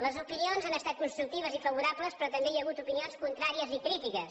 les opinions han estat constructives i favorables però també hi ha hagut opinions contràries i crítiques